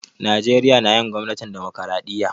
Najeriya na yin gwamnatin dimokiradiyya.